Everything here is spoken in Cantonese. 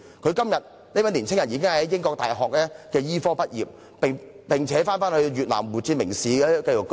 今天，這位年青人已在英國大學醫科畢業，並返回越南胡志明市定居。